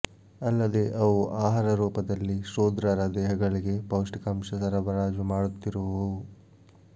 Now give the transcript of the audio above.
ಅಲ್ಲದೆ ಅವು ಆಹಾರ ರೂಪದಲ್ಲಿ ಶೂದ್ರರ ದೇಹಗಳಿಗೆ ಪೌಷ್ಟಿಕಾಂಶ ಸರಬರಾಜು ಮಾಡುತ್ತಿರುವವು